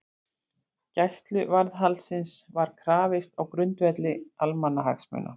Gæsluvarðhaldsins var krafist á grundvelli almannahagsmuna